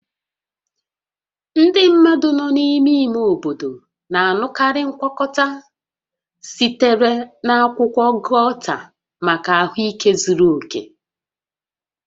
Ndị mmadụ nọ n'ime ime obodo na-aṅụkarị ngwakọta sitere na akwụkwọ gauta maka ahụike zuru oke